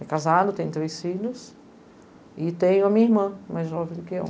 É casado, tem três filhos e tem a minha irmã mais jovem do que eu.